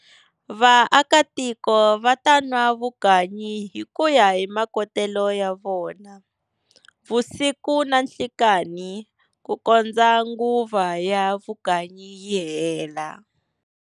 Vaakatiko va ta nwa vukanyi hikuya hi makotele ya vona, vusiku na nhlikani ku kondza nguva ya vukanyi yi hela.